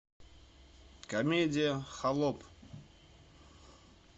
комедия холоп